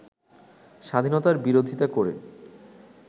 স্বাধীনতার বিরোধিতা করে